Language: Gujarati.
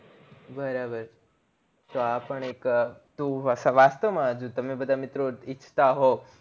બરોબર તો આ પણ એક તો વાસ્તવ માં જો તમે બધા મિત્રો ઈચ્છતા હોવ